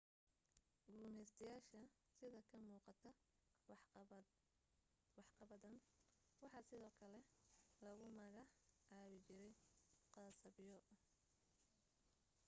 gumaystayaasha sida ka muuqata waxqabadadan waxaa sidoo kale lagu maga caabi jiray khasabyo